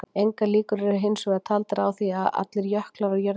Engar líkur eru hins vegar taldar á því að allir jöklar á jörðinni hverfi.